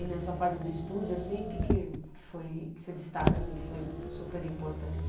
E nessa fase do estúdio assim, o que que foi que você destaca assim que foi super importante?